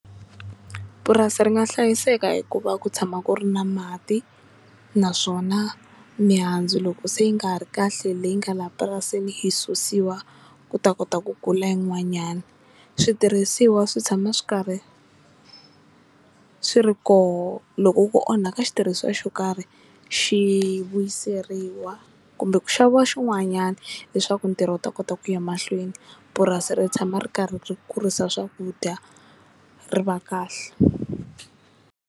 Purasi ri nga hlayiseka hikuva ku tshama ku ri na mati naswona mihandzu loko se yi nga ha ri kahle leyi nga laha purasini yi susiwa ku ta kota ku kula yin'wanyani switirhisiwa swi tshama swi karhi swi ri koho loko ku onhaka xitirhisiwa xo karhi xi vuyiseriwa kumbe ku xaviwa xin'wanyana leswaku ntirho wu ta kota ku ya emahlweni purasi ri tshama ri karhi ri kurisa swakudya ri va kahle.